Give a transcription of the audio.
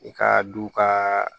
I ka du ka